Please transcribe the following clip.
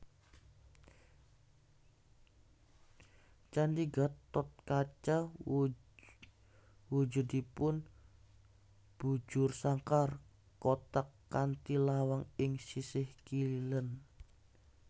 Candhi Gatotkaca wujudipun bujursangkar kotak kanthi lawang ing sisih kilen